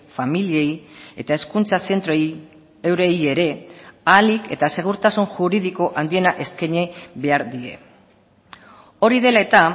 familiei eta hezkuntza zentroei eurei ere ahalik eta segurtasun juridiko handiena eskaini behar die hori dela eta